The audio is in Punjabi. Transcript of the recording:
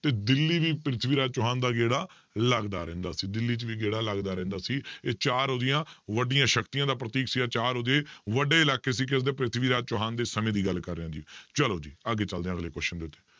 ਤੇ ਦਿੱਲੀ ਵੀ ਪ੍ਰਿਥਵੀ ਰਾਜ ਚੌਹਾਨ ਦਾ ਗੇੜਾ ਲੱਗਦਾ ਰਹਿੰਦਾ ਸੀ ਦਿੱਲੀ 'ਚ ਵੀ ਗੇੜਾ ਲੱਗਦਾ ਰਹਿੰਦਾ ਸੀ, ਇਹ ਚਾਰ ਉਹਦੀਆਂ ਵੱਡੀਆਂ ਸ਼ਕਤੀਆਂ ਦਾ ਪ੍ਰਤੀਕ ਸੀ ਇਹ ਚਾਰ ਉਹਦੇ ਵੱਡੇ ਇਲਾਕੇ ਸੀ ਕਿਸਦੇ ਪ੍ਰਿਥਵੀ ਰਾਜ ਚੌਹਾਨ ਦੇ ਸਮੇਂ ਦੀ ਗੱਲ ਕਰ ਰਿਹਾਂ ਜੀ, ਚਲੋ ਜੀ ਅੱਗੇ ਚੱਲਦੇ ਹਾਂ ਅਗਲੇ question ਦੇ ਉੱਤੇ।